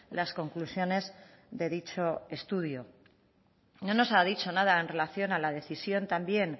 las conclusiones de dicho estudio no nos ha dicho nada en relación a la decisión también